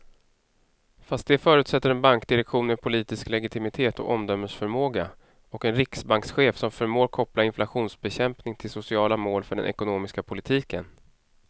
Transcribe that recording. Fast det förutsätter en bankdirektion med politisk legitimitet och omdömesförmåga och en riksbankschef som förmår koppla inflationsbekämpning till sociala mål för den ekonomiska politiken.